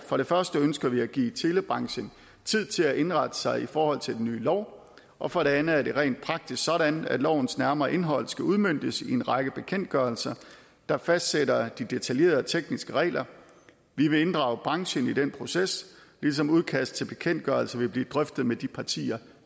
for det første ønsker vi at give telebranchen tid til at indrette sig i forhold til den nye lov og for det andet er det rent praktisk sådan at lovens nærmere indhold skal udmøntes i en række bekendtgørelser der fastsætter de detaljerede tekniske regler vi vil inddrage branchen i den proces ligesom udkast til bekendtgørelse vil blive drøftet med de partier